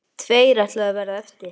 Tveir ætluðu að verða eftir.